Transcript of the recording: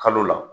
Kalo la